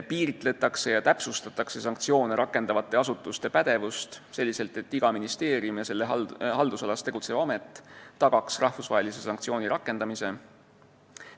Piiritletakse ja täpsustatakse sanktsioone rakendavate asutuste pädevust selliselt, et iga ministeerium ja selle haldusalas tegutsev amet tagaks rahvusvahelise sanktsiooni rakendamise.